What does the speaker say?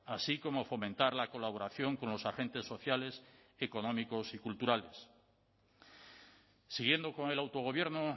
así como fomentar la colaboración con los agentes sociales económicos y culturales siguiendo con el autogobierno